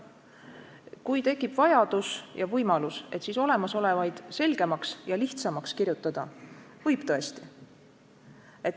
Kui tekib vajadus ja võimalus, siis olemasolevaid seadusi selgemaks ja lihtsamaks kirjutada võib aga küll.